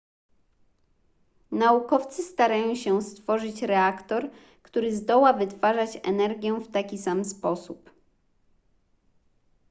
naukowcy starają się stworzyć reaktor który zdoła wytwarzać energię w taki sam sposób